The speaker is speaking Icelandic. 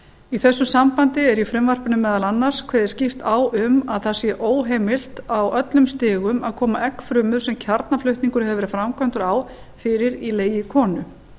í þessu sambandi er í frumvarpinu meðal annars kveðið skýrt á um að það sé óheimilt á öllum stigum að koma eggfrumu sem kjarnaflutningur hefur verið framkvæmdur á fyrir í legi konu